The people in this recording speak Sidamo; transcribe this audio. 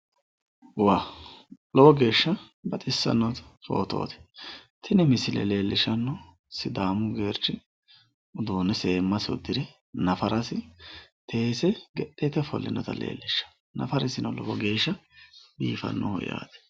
lowo geeshsha baxissanno footooti tini misile leellishshanohu sidaamu geerchi seemmasi uddire nafarasi seese ge'leete ofollinoha leellishshanno nafarisino lowo geeshsha biifannoho yaate.